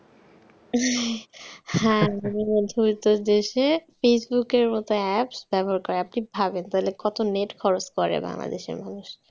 হ্যাঁ মধ্যবিত্ত দেশে facebook র মতন apps ব্যবহার করে। তবে আপনি ভাবেন কত net খরচ করে বাংলাদেশের মানুষ!